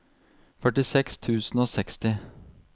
førtiseks tusen og seksti